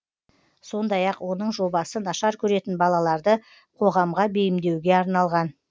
сондай ақ оның жобасы нашар көретін балаларды қоғамға бейімдеуге арналған